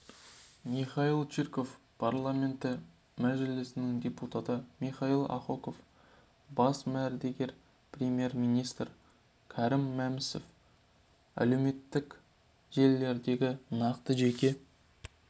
михаил чирков парламенті мәжілісінің депутаты михаил ахоков бас мердігер премьер-министрі кәрім мәсімов әлеуметтік желілердегі нақты жеке